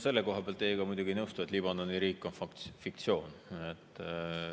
Selle koha pealt ma teiega muidugi ei nõustu, et Liibanoni riik on fiktsioon.